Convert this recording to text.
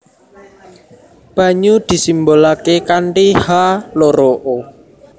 Banyu disimbolaké kanthi H loro O